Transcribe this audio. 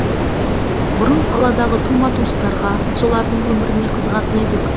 бұрын қаладағы тума туыстарға солардың өміріне қызығатын едік